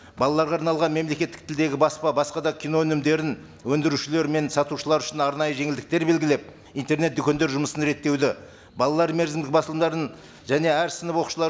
балаларға арналған мемлекеттік тілдегі баспа басқа да кино өнімдерін өндірушілері мен сатушылары үшін арнайы жеңілдіктер белгілеп интернет дүкендер жұмысын реттеуді балалар мерзімдік басылымдарын және әр сынып оқушылары